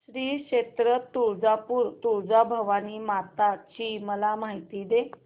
श्री क्षेत्र तुळजापूर तुळजाभवानी माता ची मला माहिती दे